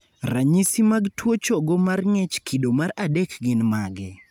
ranyisi mag tuo chogo mar ng'ech kido mar adek gin mage?